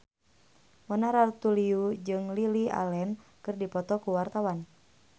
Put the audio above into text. Mona Ratuliu jeung Lily Allen keur dipoto ku wartawan